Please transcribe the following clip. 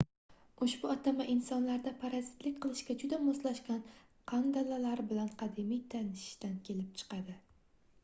ushbu atama insonlarda parazitlik qilishga juda moslashgan qandalalar bilan qadimiy tanishishdan kelib chiqadi